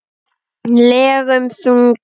legum þunga.